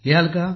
तर लिहाल आपण